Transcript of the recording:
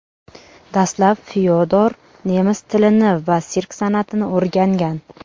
Dastlab Fyodor nemis tilini va sirk san’atini o‘rgangan.